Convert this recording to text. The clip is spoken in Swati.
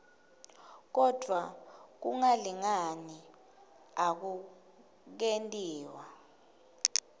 kodvwa kungalingani akukentiwa